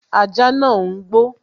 Ajá nàá ń gbó